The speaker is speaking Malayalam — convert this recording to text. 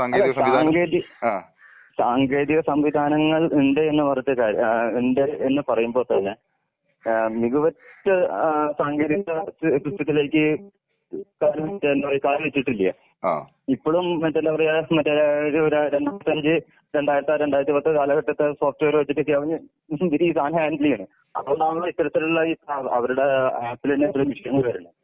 അല്ല സാങ്കേ, സാങ്കേതിക സംവിധാനങ്ങൾ ഇണ്ട് എന്ന് പറഞ്ഞിട്ട് കാര്യ ഏഹ് ഉണ്ട് എന്ന് പറയുമ്പോ തന്നെ ഏഹ് മിക്കവറ്റ സാങ്കേതിക സിസ്റ്റത്തിലേയ്ക്ക് എന്താ പറയാ കാലു വെച്ചിട്ടില്ല. ഇപ്പളും മറ്റേ എന്താ പറയാ മറ്റേ ഒരു രണ്ടായിരത്തി അഞ്ച് രണ്ടായിരത്തി ആർ രണ്ടായിരത്തി പത്ത് കാലഘട്ടത്തെ സോഫ്റ്റ്വെയർ വെച്ചിട്ട് ചെയാവുന്നെ ഇവര് ഈ സാനം ഹാൻഡിൽ ചെയ്ണ്. അതുകൊണ്ടാണല്ലോ ഇത്തരത്തിലുള്ള ഈ അവരുടെ ആപ്പില് തന്നെ ഇത്രേം മിസ്സിംഗ് വരില്ല.